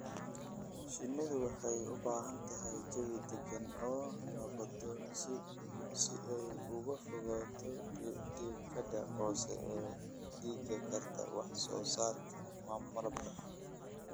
Shinnidu waxay u baahan tahay jawi degan oo nabdoon si ay uga fogaato diiqada hoos u dhigi karta wax soo saarka malabka.